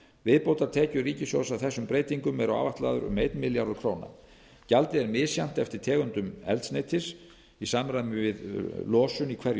viðbótartekjur ríkissjóðs af þessum breytingum eru áætlaðar um einn milljarður króna gjaldið er misjafnt eftir tegundum eldsneytis í samræmi við losun í hverju